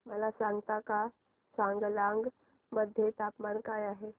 मला सांगता का चांगलांग मध्ये तापमान काय आहे